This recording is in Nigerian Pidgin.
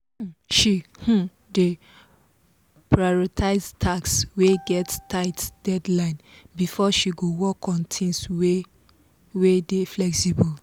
um she um dey prioritize tasks wey get tight deadlines before she go work on things wey wey dey flexible.